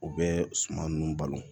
U bɛ suman ninnu balo